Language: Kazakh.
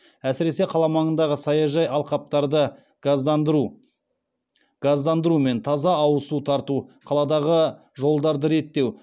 әсіресе қала маңындағы саяжай алқаптарды газдандыру мен таза ауыз су тарту қаладағы жолдарды реттеу